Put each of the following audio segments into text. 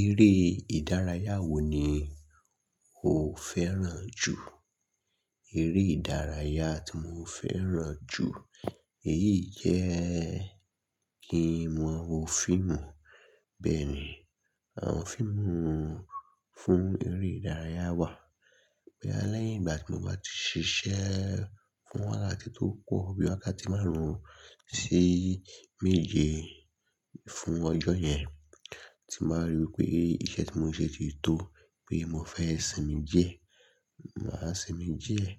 Eré ìdárayá wo ni o fẹ́ràn jù? Eré ìdárayá tí mo fẹ́ràn jù, èyí jẹ́ kí mo wo fíìmù. Bẹ́ẹ̀ ni, àwọn fíìmù fún eré ìdárayá wà. Bí alẹ́ ìgbà tí mo bá ti ṣiṣẹ́ fún wákàtí tó pọ̀ bí wákàtí márùn-ún sí méje fún ọjọ́ yẹn, tí n bà rí wípé iṣẹ́ tí mo ṣe ti tó pé mo fẹ́ sinmi díẹ̀, màá sinmi díẹ̀.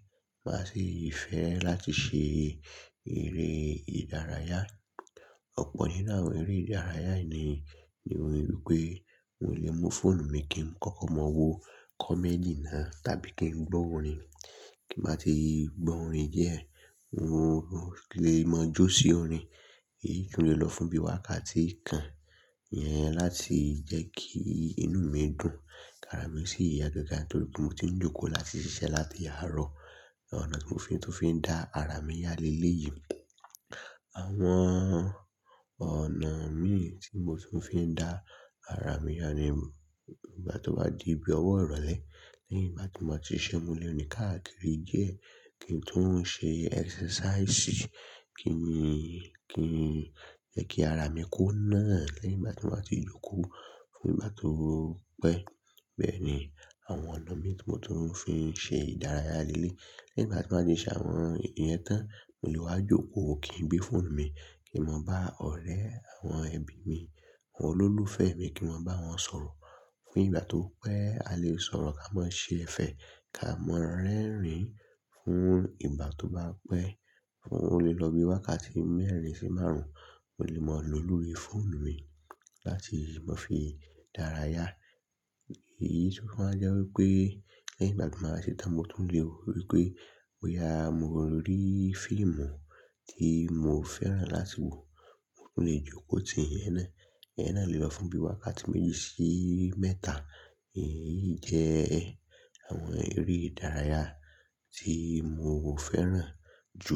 Màá sì fẹ́ràn láti ṣe eré ìdárayá. Ọ̀pọ̀ nínú àwọn eré ìdárayá yìí ni ni mo rí wípé n ò lè mu fóònù mi kí n kọ́kọ́ mọ wo comedy náà tàbí kí n gbọ́ orin. Kí n bá ti gbọ́ orin díẹ̀, n lè mọ jó sí orin. Èyí tún lè lọ fún bí wákàtí kan yẹn láti jẹ́ kí inú mi dùn, kara mi sì yá gágá torí pé mo ti ń jókòó láti ṣiṣẹ́ láti àárọ̀. Ọ̀nà tí mo fi, tó fi ń dá ara mi yá léleyii un, àwọn ọ̀nà mii tí mo tún fi ń dá ara mi yá ni ìgbà tí ó bá di bí ọwọ́ ìrọ̀lẹ́, lẹ́yìn ìgbà ti máa ti ṣẹ́ múlẹ̀ òní káàkiri díẹ̀ kí n tún ń ṣe exercise, kí n, kí n jẹ́ kí ara mi kó náà lẹ́yìn ìgbà ti máa ti jókòó fún ìgbà tó pẹ́. Bẹ́ẹ̀ ni, àwọn ọ̀nà mi tí mo tún ń fi ṣe ìdárayá lé lé. Lẹ́yìn bá ti máa ti ṣẹ́ àwọn ìyẹn tán, mo lè wá jókòó kì í gbé fóònù mi, kí n mọ bá ọ̀rẹ́ àwọn ẹbí mi, àwọn olólùfẹ́ mi kí n mọ bá wọn sọ̀rọ̀. Fún ìgbà tó pẹ́, a lè sọ̀rọ̀ ká mọ ṣé ẹ fẹ́ ká mọ rẹ́rìn-ín fún ìgbà tó bá pẹ́. Ó lè lọ bí wákàtí mẹ́rin sí márùn-ún, mo lè mọ lò lórí fóònù mi láti mo fi dárayá. Èyí tún máa jẹ́ wípé lẹ́yìn ìgbà ti máa ṣe tán mo tún lè rí pé bóyá, mo rí fíìmù tí mo fẹ́ràn láti wò, mo tún lè jókòó tì yẹn náà. Ìyẹn náà lè lọ fún bí wákàtí méje sí mẹ́ta. Èyí jẹ́ àwọn eré ìdárayá tí mo fẹ́ràn jù.